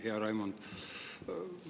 Hea Raimond!